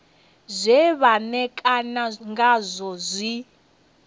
zwe vha ṋekana ngazwo zwi